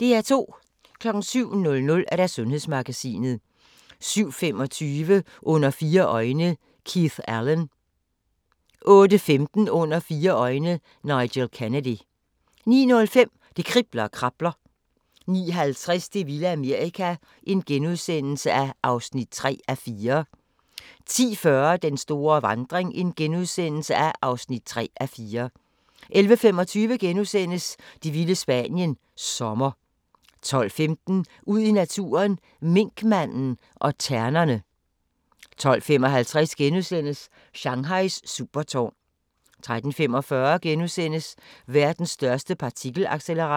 07:00: Sundhedsmagasinet 07:25: Under fire øjne – Keith Allen 08:15: Under fire øjne – Nigel Kennedy 09:05: Det kribler og krabler 09:50: Det vilde Amerika (3:4)* 10:40: Den store vandring (3:4)* 11:25: Det vilde Spanien – Sommer * 12:15: Ud i naturen: Minkmanden og ternerne 12:55: Shanghais supertårn * 13:45: Verdens største partikelaccelerator *